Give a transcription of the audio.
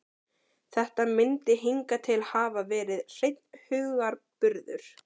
Þetta myndi hingað til hafa verið hreinn hugarburður.